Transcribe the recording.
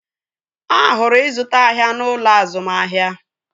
Ahụrụ ịzụta ahịa n'ụlọ azụmahịa